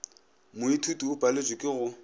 moithuti o paletšwe ke go